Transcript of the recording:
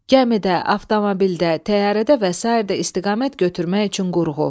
Gəmidə, avtomobildə, təyyarədə və sair də istiqamət götürmək üçün qurğu.